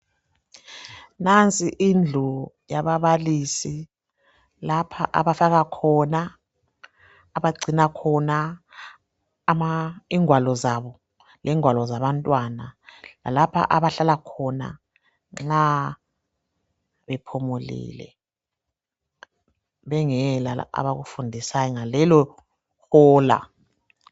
Nansi indlu yababalisi, lapha abahlala khona, abagcina khona ingwalo zabo, lengwalo zabantwana lalapha abahlala khona nxa bephumulile bengela abakufundisayo ngalelohola.